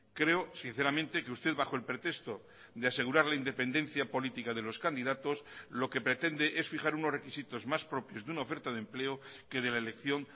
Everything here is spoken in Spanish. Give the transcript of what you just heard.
creo sinceramente que usted bajo el pretexto de asegurar la independencia política de los candidatos lo que pretende es fijar unos requisitos más propios de una oferta de empleo que de la elección